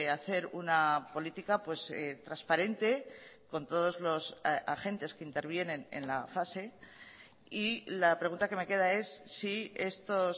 hacer una política transparente con todos los agentes que intervienen en la fase y la pregunta que me queda es si estos